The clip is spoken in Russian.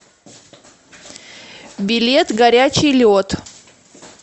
билет горячий лед